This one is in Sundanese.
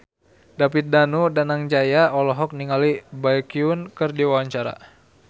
David Danu Danangjaya olohok ningali Baekhyun keur diwawancara